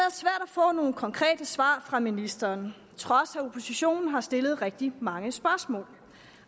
få nogle konkrete svar fra ministeren på trods af at oppositionen har stillet rigtig mange spørgsmål